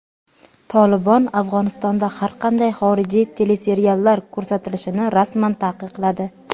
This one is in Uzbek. "Tolibon" Afg‘onistonda har qanday xorijiy teleseriallar ko‘rsatilishini rasman taqiqladi.